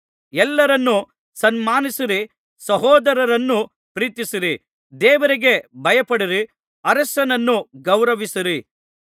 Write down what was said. ಎಲ್ಲರನ್ನೂ ಸನ್ಮಾನಿಸಿರಿ ಸಹೋದರರನ್ನು ಪ್ರೀತಿಸಿರಿ ದೇವರಿಗೆ ಭಯಪಡಿರಿ ಅರಸನನ್ನು ಗೌರವಿಸಿರಿ